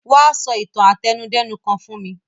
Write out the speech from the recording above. Wa so itan àtẹnudẹ́nu kan fún mi